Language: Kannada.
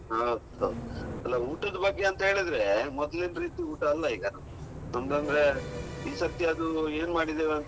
ಹೌದು ಹೌದು. ಅಲ್ಲ ಊಟದ್ ಬಗ್ಗೆ ಅಂತ ಹೇಳಿದ್ರೆ ಮೊದ್ಲಿನ್ ರೀತಿ ಊಟ ಅಲ್ಲ ಈಗ ತುಂಬಾ ಅಂದ್ರೆ ಈಸರ್ತಿ ಅದೂ ಏನು ಮಾಡಿದ್ದೇವೆ ಅಂತ